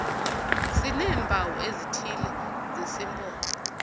sineempawu ezithile zesimpondo